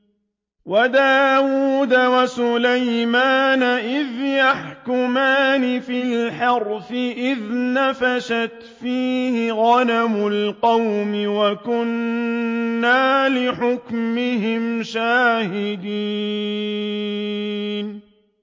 وَدَاوُودَ وَسُلَيْمَانَ إِذْ يَحْكُمَانِ فِي الْحَرْثِ إِذْ نَفَشَتْ فِيهِ غَنَمُ الْقَوْمِ وَكُنَّا لِحُكْمِهِمْ شَاهِدِينَ